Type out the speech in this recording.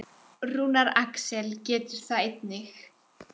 Rúnar Alex getur það einnig.